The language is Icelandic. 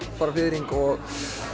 fiðring og